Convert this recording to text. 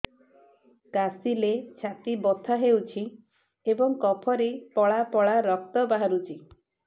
କାଶିଲେ ଛାତି ବଥା ହେଉଛି ଏବଂ କଫରେ ପଳା ପଳା ରକ୍ତ ବାହାରୁଚି